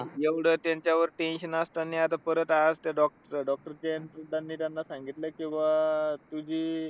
एवढं त्यांच्यावर tension असताना ते परत आज डॉक doctor जयंत प्रधान नि त्यांना सांगितलं कि बा आह तुझी